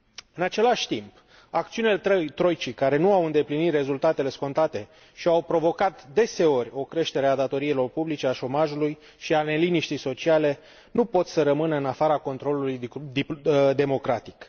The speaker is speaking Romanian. În același timp, acțiunile troicii care nu au îndeplinit rezultatele scontate și au provocat deseori o creștere a datoriilor publice, a șomajului și a neliniștii sociale nu pot să rămână în afara controlului democratic.